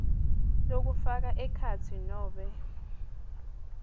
lokufaka ekhatsi nobe